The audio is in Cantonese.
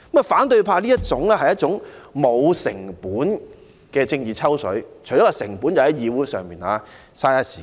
反對派這種做法是無需成本的"政治抽水"，成本只是浪費議會時間。